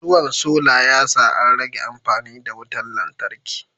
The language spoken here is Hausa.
Zuwan solar yasa an rage amfani da wutar lantarki